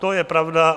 To je pravda.